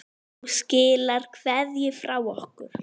Þú skilar kveðju frá okkur.